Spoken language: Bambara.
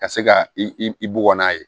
Ka se ka i bugɔ n'a ye